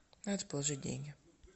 надо положить деньги